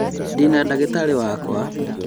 Ndĩna ndagĩtari wakwa